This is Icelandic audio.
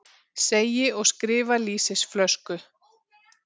Segi og skrifa lýsisflösku.